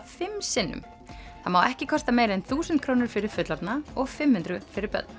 fimm sinnum það má ekki kosta meira en þúsund krónur fyrir fullorðna og fimm hundruð fyrir börn